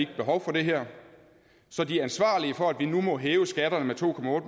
behov for det her så de ansvarlige for at vi nu må hæve skatterne med to